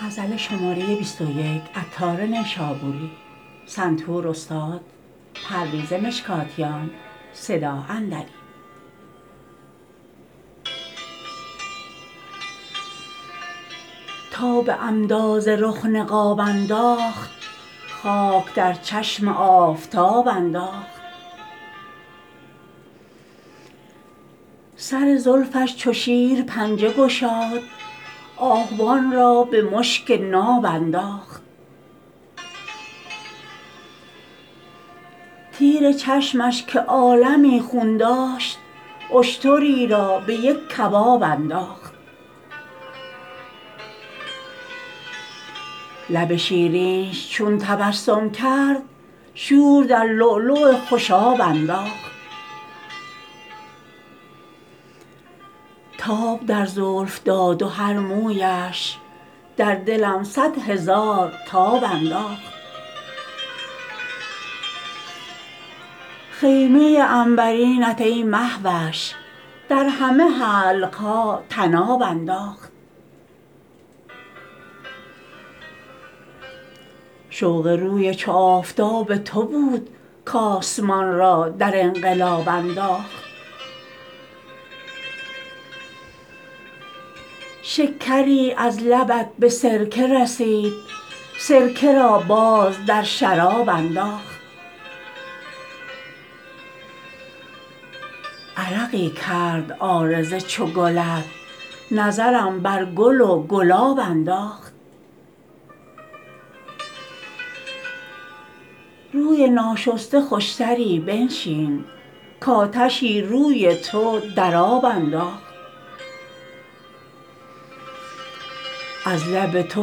تا به عمدا ز رخ نقاب انداخت خاک در چشم آفتاب انداخت سر زلفش چو شیر پنجه گشاد آهوان را به مشک ناب انداخت تیر چشمش که عالمی خون داشت اشتری را به یک کباب انداخت لب شیرینش چون تبسم کرد شور در لؤلؤ خوشاب انداخت تاب در زلف داد و هر مویش در دلم صد هزار تاب انداخت خیمه عنبرینت ای مهوش در همه حلقها طناب انداخت شوق روی چو آفتاب تو بود کاسمان را در انقلاب انداخت شکری از لبت به سرکه رسید سرکه را باز در شراب انداخت عرقی کرد عارض چو گلت نظرم بر گل و گلاب انداخت روی ناشسته خوشتری بنشین کاتشی روی تو در آب انداخت از لب تو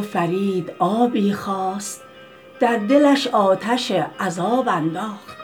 فرید آبی خواست در دلش آتش عذاب انداخت